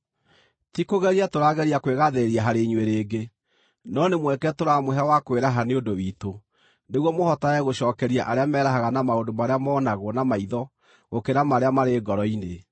Tikũgeria tũrageria kwĩgaathĩrĩria harĩ inyuĩ rĩngĩ, no nĩ mweke tũramũhe wa kwĩraha nĩ ũndũ witũ, nĩguo mũhotage gũcookeria arĩa merahaga na maũndũ marĩa monagwo na maitho gũkĩra marĩa marĩ ngoro-inĩ.